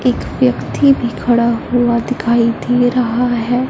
एक व्यक्ति भी खड़ा हुआ दिखाई दे रहा है।